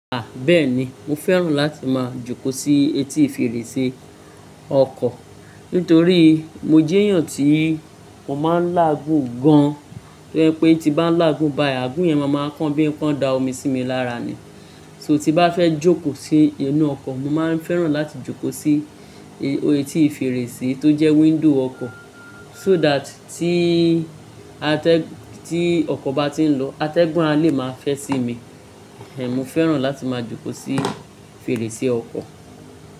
Bẹ́ẹ̀ni. Mo fẹ́ràn láti máa jókòó sí etí fèrèsé ọkọ̀ nítorí mo jẹ́ èèyàn tí mo máa ń láàgún gan-an. To ye pé tí bá ń làágún bayi, àgún yẹn máa máa kán bí i pọ́n dá omi sí mi lára ni. So tí bá fẹ́ jókòó sí inú ọkọ̀, mo máa ń fẹ́ràn láti jókòó sí etí fèrèsé tó jẹ́ window ọkọ̀ so that tí atẹ́-- tí ọkọ̀ bá ti ń lọ, atẹ́gùn a lè máa fẹ́ sí mi. Mo fẹ́ràn láti máa jókòó sí fèrèsé ọkọ̀.